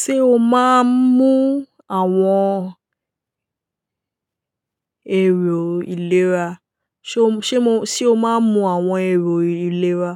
Ṣé o máa ń mú àwọn èrò ìlera? Ṣé o máa ń mú àwọn èrò ìlera?